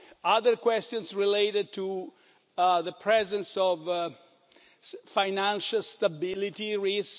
Other questions related to the presence of financial stability risks.